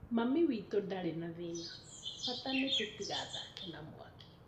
Mami witu ndarĩ na thĩna bata nĩ tũtigathake na mwaki